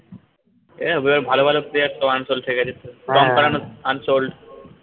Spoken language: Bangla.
এ এবার ভালোভালো player এবার সব unsold থেকে , tom curran ও unsold